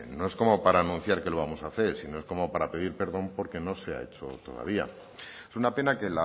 no es como para anunciar que lo vamos a hacer sino es como para pedir perdón porque no se ha hecho todavía es una pena que